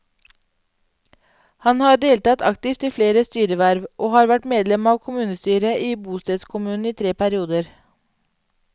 Han har deltatt aktivt i flere styreverv, og har vært medlem av kommunestyret i bostedskommunen i tre perioder.